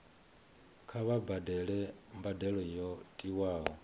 kha vha badele mbadelo yo tiwaho